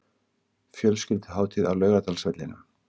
Fjölskylduhátíð á Laugardalsvellinum